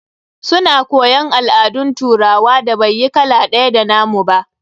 Su na koyon al'adun turawan da bai yi kala ɗaya da nna mu ba.